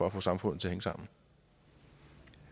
at få samfundet til